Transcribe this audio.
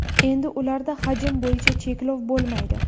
Endi ularda hajm bo‘yicha cheklov bo‘lmaydi.